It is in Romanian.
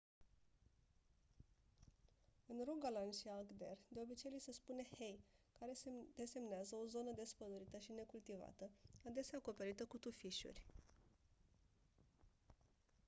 în rogaland și agder de obicei li se spune hei care desemnează o zonă despădurită și necultivată adesea acoperită cu tufișuri